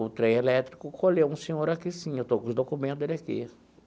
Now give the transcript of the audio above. O trem elétrico colheu um senhor aqui, sim, eu estou com os documento dele aqui.